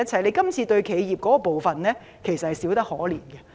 這次修訂對企業的援助真的可謂少得可憐。